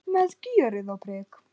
Með gjörð og prik.